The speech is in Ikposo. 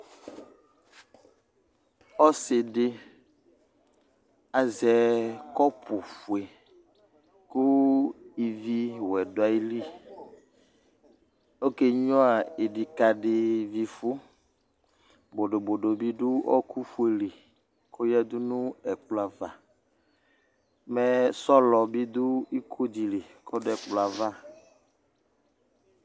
Ọsɩwdɩ azɛ kɔpʋfue kʋ iviwɛ dʋ ayili ,oke nyuǝ ɩdɩkadɩvifʋ ,bodobodo bɩ dʋ ɔɔkʋfuue li k'oyǝdu nʋ ɛkplɔ ava Mɛ sɔlɔ bɩ dʋ ikodɩ li k'ɔdʋ ɛkplɔǝ ava